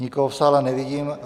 Nikoho v sále nevidím.